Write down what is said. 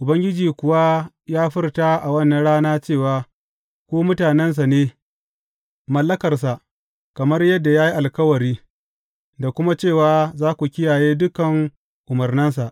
Ubangiji kuwa ya furta a wannan rana cewa ku mutanensa ne, mallakarsa kamar yadda ya yi alkawari, da kuma cewa za ku kiyaye dukan umarnansa.